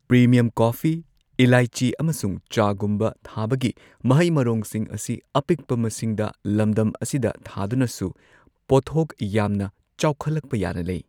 Premium coffee, ꯏꯂꯥꯏꯆꯤ, ꯑꯃꯁꯨꯡ ꯆꯥꯒꯨꯝꯕ ꯊꯥꯕꯒꯤ ꯃꯍꯩ ꯃꯔꯣꯡꯁꯤꯡ ꯑꯁꯤ ꯑꯄꯤꯛꯄ ꯃꯁꯤꯡꯗ ꯂꯝꯗꯝ ꯑꯁꯤꯗ ꯊꯥꯗꯨꯅꯁꯨ ꯄꯣꯠꯊꯣꯛ ꯌꯥꯝꯅ ꯆꯥꯎꯈꯠꯂꯛꯄ ꯌꯥꯅ ꯂꯩ꯫